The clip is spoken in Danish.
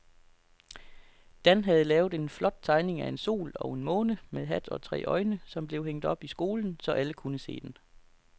Dan havde lavet en flot tegning af en sol og en måne med hat og tre øjne, som blev hængt op i skolen, så alle kunne se den.